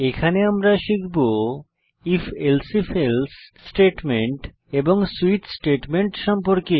এখানে আমরা শিখব if elsif এলসে স্টেটমেন্ট এবং সুইচ স্টেটমেন্ট সম্পর্কে